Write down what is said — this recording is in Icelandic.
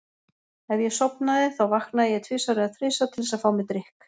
Ef ég sofnaði þá vaknaði ég tvisvar eða þrisvar til þess að fá mér drykk.